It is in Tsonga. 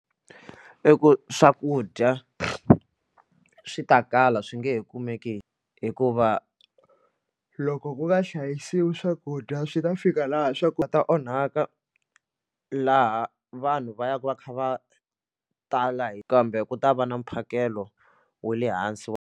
I ku swakudya swi ta kala swi nge he kumeki hikuva loko ku nga hlayisiwi swakudya swi ta fika laha swa ku ta onhaka laha vanhu va yaka va kha va tala kambe ku ta va na mphakelo wa le hansi wa.